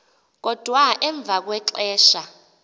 kodwa emva kwexesha